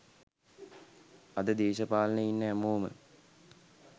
අද දෙශපාලනේ ඉන්න හැමෝම